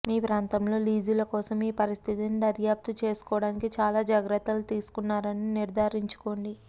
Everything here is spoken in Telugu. మీ ప్రాంతంలో లీజుల కోసం ఈ పరిస్థితిని దర్యాప్తు చేసుకోవటానికి చాలా జాగ్రత్తలు తీసుకున్నారని నిర్ధారించుకోండి